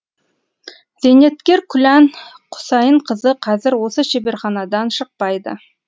зейнеткер күлән құсайынқызы қазір осы шеберханадан шықпайды